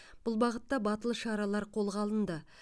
бұл бағытта батыл шаралар қолға алынды